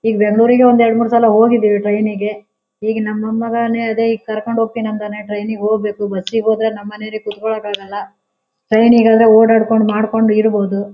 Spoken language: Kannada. ಈಗ್ ಬೆಂಗಳೂರಿಗೆ ಎರಡು ಮೂರೂ ಸಲ ಹೋಗಿದೀವಿ ಟ್ರೈನಿಗೆ ಈಗ್ ನಮ್ಮ್ ಮೊಮ್ಮಗನೇ ಅದೇ ಈಗ್ ಕರ್ಕೊಂಡು ಹೋಗ್ತೀನಿ ಅಂದಾನೆ ಟ್ರೈನಿಗೆ ಹೋಗ್ಬೇಕು ಬಸ್ ಗೆ ಹೋದ್ರೆ ನಮ್ಮ್ ಮನೆಯವರಿಗೆ ಕುತ್ಕೊಳಕ್ಕೆ ಆಗೋಲ್ಲ ಟ್ರೈನಿಗೆ ಆದ್ರೆ ಓಡಾಡ್ಕೊಂಡು ಮಾಡ್ಕೊಂಡು ಇರಬಹುದು.